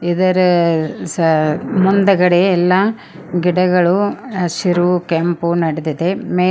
ಇದರ ಸ ಮುಂದುಗಡೆ ಎಲ್ಲಾ ಗಿಡಗಳು ಹಸಿರು ಕೆಂಪು ನಡೆದಿದೆ.